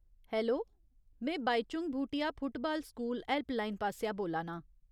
Hello, में Bhaichung Bhutia football school helpline पासेआ बोल्ला नां।